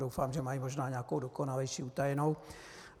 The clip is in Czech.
Doufám, že mají možná nějakou dokonalejší, utajenou.